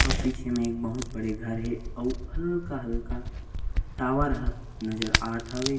अऊ पीछे म एक बहुत बड़े घर हे अऊ हल्का-हल्का टॉवर ह नज़र आत हवे।